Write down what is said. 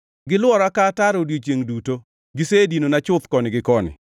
Gilwora ka ataro odiechiengʼ duto; gisedinona chuth koni gi koni.